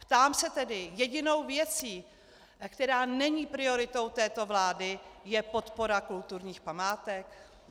Ptám se tedy: jedinou věcí, která není prioritou této vlády, je podpora kulturních památek?